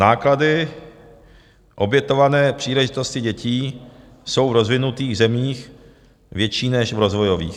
Náklady obětované příležitosti dětí jsou v rozvinutých zemích větší než v rozvojových.